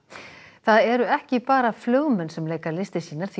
það eru ekki bara flugmenn sem leika listir sínar því